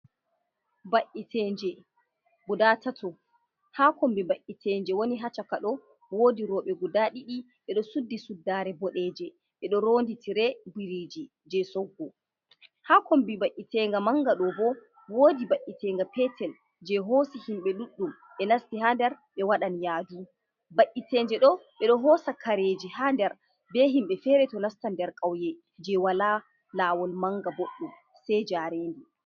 Ba'itenje guda tato, ha kombi ba’itenje woni hacaka do wodi roɓe guda ɗidi ɓedo suddi suddaare bodeje ɓe do rondi tire biriji je soggo ha kombi ba'itega manga do bo wodi ba’itenga petel je hosi himɓe ɗuɗɗum ɓe nasti ha nder be waɗan yadu ba’’itenje do ɓedo hosa kareji haandar be himɓe fere to nasta ndar kauye je wala lawol manga boɗɗum sei jarendi.